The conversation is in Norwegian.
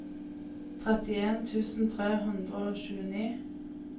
trettien tusen tre hundre og tjueni